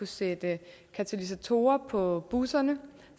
sætte katalysatorer på busserne